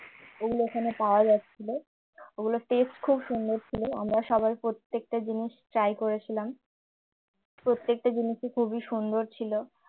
ওগুলো ওখানে পাওয়া যাচ্ছিল ওগুলোর taste খুব সুন্দর ছিল আমরা সবাই প্রত্যেকটা জিনিস try করেছিলাম প্রত্যেকটা জিনিসই খুবই সুন্দর ছিল।